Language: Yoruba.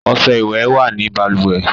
Ọṣẹ ìwẹ̀ wà ní balùwẹ̀